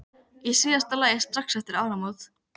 Í síðasta lagi strax eftir áramót.